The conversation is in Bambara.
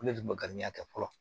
Ko ne de tun bɛ garibuya kɛ fɔlɔ